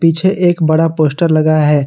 पीछे एक बड़ा पोस्टर लगा है।